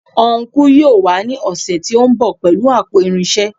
Ọnkú yóò wá ní ọ̀sẹ̀ tí ó ń bọ̀ pẹ̀lú àpò irinṣẹ́